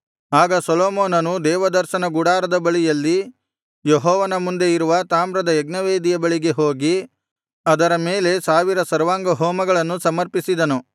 ಆಗ ಸೊಲೊಮೋನನು ದೇವದರ್ಶನ ಗುಡಾರದ ಬಳಿಯಲ್ಲಿ ಯೆಹೋವನ ಮುಂದೆ ಇರುವ ತಾಮ್ರದ ಯಜ್ಞವೇದಿಯ ಬಳಿಗೆ ಹೋಗಿ ಅದರ ಮೇಲೆ ಸಾವಿರ ಸರ್ವಾಂಗಹೋಮಗಳನ್ನು ಸಮರ್ಪಿಸಿದನು